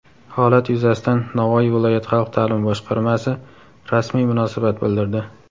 Holat yuzasidan Navoiy viloyat xalq ta’limi boshqarmasi rasmiy munosabat bildirdi.